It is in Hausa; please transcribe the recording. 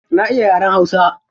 Na iya yaren hausa.